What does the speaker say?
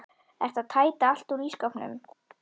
Ertu að tæta allt út úr skápnum?